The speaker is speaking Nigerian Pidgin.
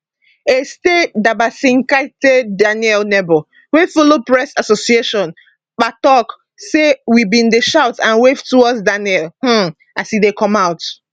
aiste dabasinskaite daniel neighbour wey follow press association pa tok say we bin dey shout and wave towards daniel um as e come out